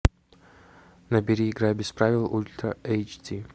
набери игра без правил ультра эйч ди